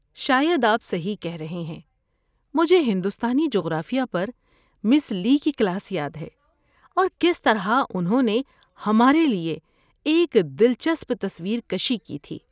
شاید آپ صحیح کہہ رہے ہیں! مجھے ہندوستانی جغرافیہ پر مِس لی کی کلاس یاد ہے، اور کس طرح انہوں نے ہمارے لیے ایک دلچسپ تصویر کشی کی تھی۔